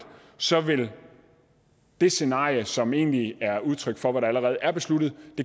så vil det scenarie som egentlig er udtryk for hvad der allerede er besluttet